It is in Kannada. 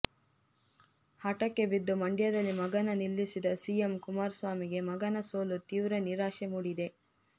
ಹಠಕ್ಕೆ ಬಿದ್ದು ಮಂಡ್ಯದಲ್ಲಿ ಮಗನ ನಿಲ್ಲಿಸಿದ ಸಿಎಂ ಕುಮಾರಸ್ವಾಮಿಗೆ ಮಗನ ಸೋಲು ತೀವ್ರ ನಿರಾಶೆ ಮೂಡಿದೆ